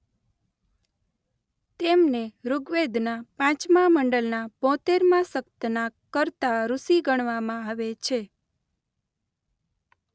તેમને ઋગ્વેદના પાંચમા મંડલના બોતેર મા સક્તના કર્તા ઋષિ ગણવામાં આવે છે.